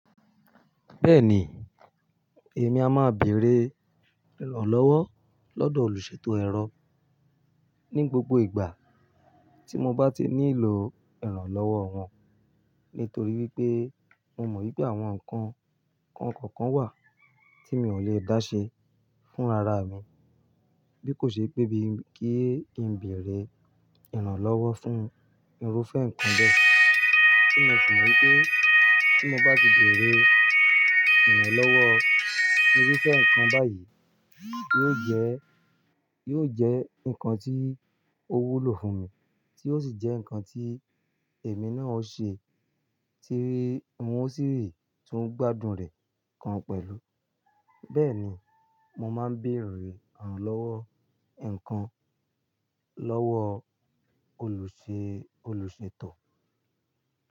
Bẹ́ẹ̀ni, èmi a máa beèrè ìrànlọ́wọ́ lọ́dọ̀ olùṣètò ẹ̀rọ ní gbogbo ìgbà tí mo bá ti nílò ìrànlọ́wọ́ wọn. Nítorí wípé mo mọ̀ wípé àwọn nǹkan kan kọ̀ọ̀kan wà tí mi ò lè dá ṣe fúnra ra mi, bí kò ṣe pé bí kí ń beèrè ìrànlọ́wọ́ fún irúfẹ́ nnkan bẹ́ẹ̀. Tí mo sì mọ̀ wípé tí mo bá ti beèrè ìrànlọ́wọ́ irúfẹ́ nnkan báyìí, yóò jẹ́, yóò jẹ́ nnkan tí o wúlò fún mi, tí ó sì jẹ́ nnkan tí èmi náà o ṣe, tí maa sì tún gbádùn rẹ̀ gan pẹ̀lú. Bẹ́ẹ̀ni, mo máa ń bèerè ìrànlọ́wọ́ nǹkan lọ́wọ́ olùṣe, olùṣètò.